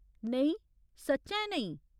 नेईं, सच्चैं नेईं।